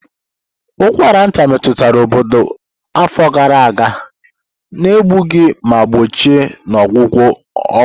Ụkwara nta metụtara obodo afọ gara aga, na-eduga na mgbochi na ọgwụgwọ ọgwụ.